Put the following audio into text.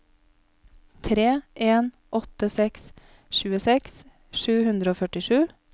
tre en åtte seks tjueseks sju hundre og førtisju